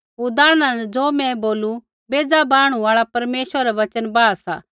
उदाहरणा न ज़ो मैं बोलू बेज़ा बाहणु आल़ा परमेश्वरै रै वचना बाहा सा